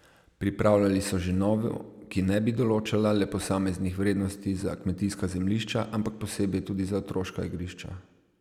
Pripravljali so že novo, ki ne bi določala le posameznih vrednosti za kmetijska zemljišča, ampak posebej tudi za otroška igrišča.